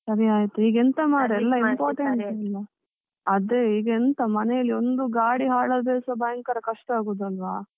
ಸರಿ ಆಯ್ತು ಮಾಡುದು, ಎಲ್ಲಾ important ಟೆ ಅಲ. ಅದೆ ಈಗ ಎಂತ ಮನೇಲಿ ಒಂದು ಗಾಡಿ ಹಾಳ್ ಅದ್ರೆಸ ಭಯಂಕರ ಕಷ್ಟ ಆಗುದು ಅಲ್ವಾ.